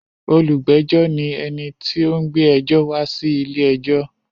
Olùgbẹ́jọ́ ní ẹni tí ó ń gbé ẹjọ́ wá sí ilé-ẹjọ́.